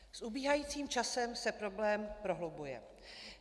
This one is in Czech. S ubíhajícím časem se problém prohlubuje.